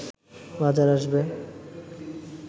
বাজারে আসবে